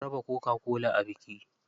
An raba coca-cola a biki.